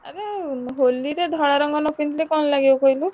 ଆରେ ହୋଲିରେ ଧଳା ରଙ୍ଗ ନ ପିନ୍ଧିଲେ କଣ ଲାଗିବ କହିଲୁ?